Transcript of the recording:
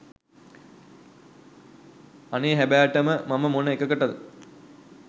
අනේ හැබෑටම මම මොන එකකට